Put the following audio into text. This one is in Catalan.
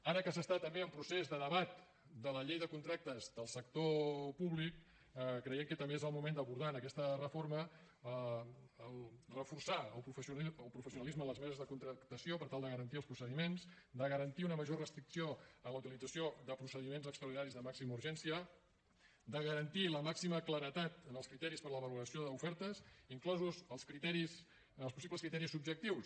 ara que s’està també en procés de debat de la llei de contractes del sector públic creiem que també és el moment d’abordar en aquesta reforma reforçar el professionalisme a les meses de contractació per tal de garantir els procediments de garantir una major restricció en la utilització de procediments extraordinaris de màxima urgència de garantir la màxima claredat en els criteris per a la valoració d’ofertes inclosos els possibles criteris subjectius